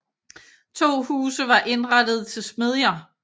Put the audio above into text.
To huse var indrettede til smedjer